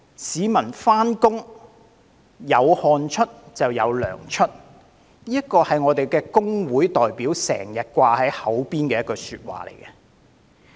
"市民上班，有汗出就有糧出"，這是工會代表經常掛在口邊的一句話。